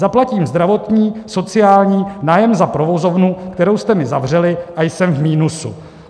Zaplatím zdravotní, sociální, nájem za provozovnu, kterou jste mi zavřeli, a jsem v minusu.